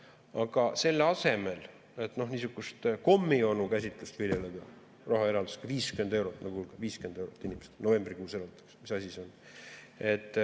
Aga selle asemel, et niisugust kommionu käsitlust viljeleda rahaeraldisega 50 eurot, nagu novembrikuus oli – mis asi see on?